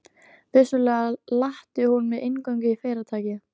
Vissulega latti hún mig inngöngu í Fyrirtækið.